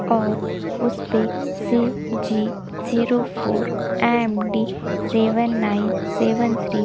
और उसपे C G zero four M D seven nine seven three --